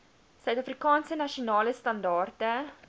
suidafrikaanse nasionale standaarde